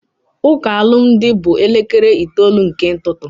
Ụka alụmdi bụ na elekere itoolu nke ụtụtụ